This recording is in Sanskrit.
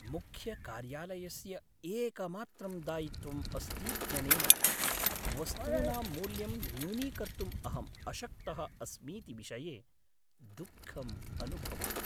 मुख्यकार्यालयस्य एकमात्रं दायित्वम् अस्तीत्यनेन, वस्तूनां मूल्यं न्यूनीकर्तुम् अहम् अशक्तः अस्मीति विषये दुःखम् अनुभवामि।